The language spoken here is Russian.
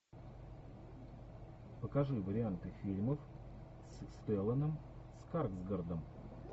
покажи варианты фильмов с стелланом скарсгардом